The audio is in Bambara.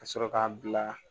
Ka sɔrɔ k'a bila